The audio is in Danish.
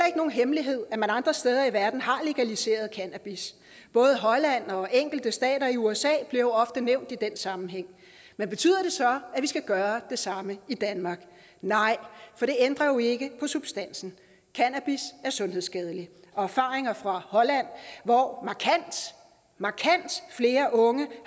ikke nogen hemmelighed at man andre steder i verden har legaliseret cannabis både holland og enkelte stater i usa bliver ofte nævnt i den sammenhæng men betyder det så at vi skal gøre det samme i danmark nej for det ændrer jo ikke ved substansen cannabis er sundhedsskadeligt og erfaringer fra holland hvor markant flere unge